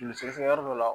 Joli sɛgɛsɛgɛ yɔrɔ dɔ la